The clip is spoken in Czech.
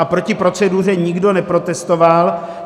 A proti proceduře nikdo neprotestoval.